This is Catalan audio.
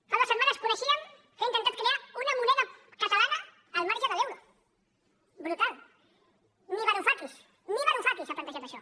fa dues setmanes coneixíem que han intentat crear una moneda catalana al marge de l’euro brutal ni varufakis ni varufakis ha plantejat això